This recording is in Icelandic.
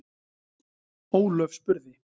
Ólöf spurði: